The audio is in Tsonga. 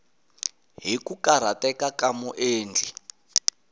hi ku karhateka ka muendli